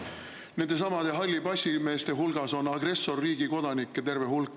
Nendesamade hallipassimeeste hulgas on agressorriigi kodanikke terve hulk.